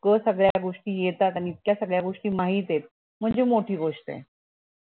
रोज सगळ्या गोष्टी येतात आणि इतक्या सगळया गोष्टी माहित येत म्हणजे मोठी गोष्ट ये